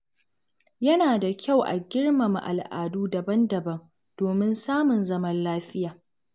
Yana da kyau a girmama al’adu daban-daban domin samun zaman lafiya.